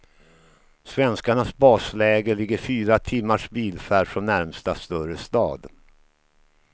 Svenskarnas basläger ligger fyra timmars bilfärd från närmsta större stad.